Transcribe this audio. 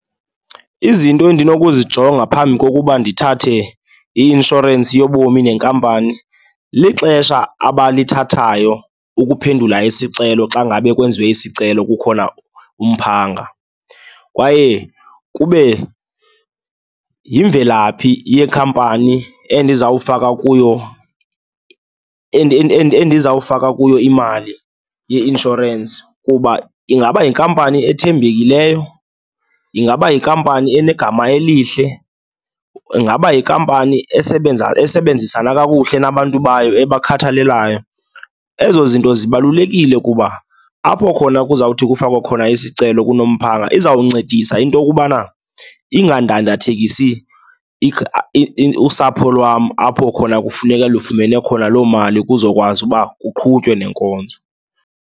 Izinto endinokuzijonga phambi kokuba ndithathe i-inshorensi yobomi nenkampani, lixesha abalithathayo ukuphendula isicelo xa ngabe kwenziwe isicelo kukhona umphanga. Kwaye kube yimvelaphi yekhampani endizawufaka kuyo, endizawufaka kuyo imali ye-inshorensi kuba ingaba yinkampani ethembekileyo? Ingaba yikampani enegama elihle? Ingaba yikampani esebenzisana kakuhle nabantu bayo, ebakhathalelayo? Ezo zinto zibalulekile kuba apho khona kuzawuthi kufakwe khona isicelo kulo mphanga izawuncedisa into yokubana ingadandathekisi usapho lwam, apho khona kufuneka lufumane khona loo mali kuzokwazi kuba kuqhutywe nenkonzo.